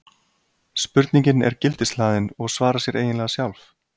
Spurningin er gildishlaðin og svarar sér eiginlega sjálf.